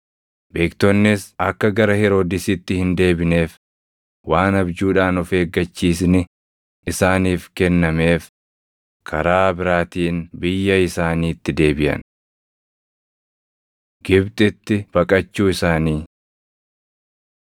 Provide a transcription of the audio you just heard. Beektonnis akka gara Heroodisitti hin deebineef waan abjuudhaan of eeggachiisni isaaniif kennameef karaa biraatiin biyya isaaniitti deebiʼan. Gibxitti Baqachuu Isaanii